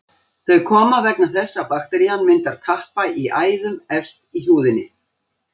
Þau koma vegna þess að bakterían myndar tappa í æðum efst í húðinni.